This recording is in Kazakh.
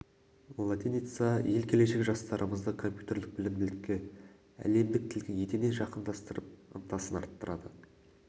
латиница ел келешегі жастарымызды компьютерлік білімділікке әлемдік тілге етене жақындастырып ынтасын арттырады